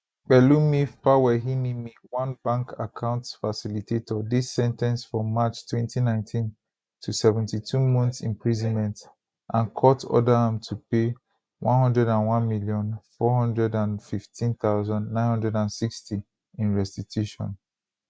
pelumi fawehinimi one bank account facilitator dey sen ten ced for march 2019 to 72 months imprisonment and court order am to pay 101415960 in restitution